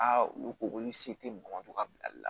Aa olu ko k'olu se tɛ mɔgɔ dɔ ka bilali la